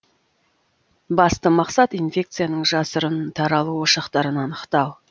басты мақсат инфекцияның жасырын таралу ошақтарын анықтау